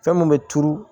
Fɛn mun bɛ turu